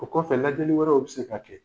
O kɔfɛ lajɛli wɛrɛw bɛ se ka kɛ.